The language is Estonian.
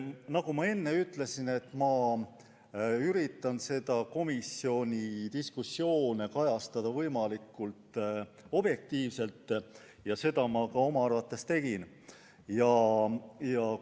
Nagu ma enne ütlesin, üritan ma komisjoni diskussioone kajastada võimalikult objektiivselt ja seda ma enda arvates olen ka teinud.